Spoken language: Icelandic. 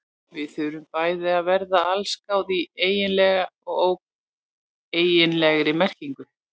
Við þurfum bæði að verða allsgáð í eiginlegri og óeiginlegri merkingu.